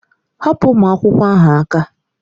Hapụ ụmụ akwụkwọ ahụ aka!